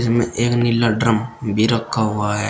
इनमें एक नीला ड्रम भी रखा हुआ है।